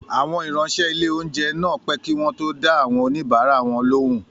Àwọn ìráńṣẹ́ ilé-oúnjẹ náà pẹ́ kí wọ́n tó dá àwọn oníbàárà wọn lóhùn